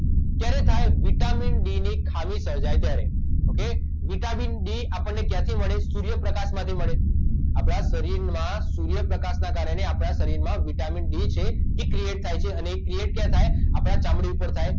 ક્યારે થાય vitamin D ની ખામી સર્જાય ત્યારે ઓકે વિટામિન ડી આપણને ક્યાંથી મળે સૂર્યપ્રકાશ માંથી મળે આપડાં શરીરમાં સૂર્યપ્રકાશના કારણે આપડાં શરીરમાં વિટામિન ડી છે એ ક્રીએટ થાય છે અને એ ક્રીએટ ક્યાં થાય આપડાં ચામડી પર થાય